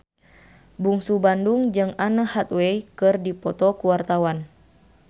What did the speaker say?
Bungsu Bandung jeung Anne Hathaway keur dipoto ku wartawan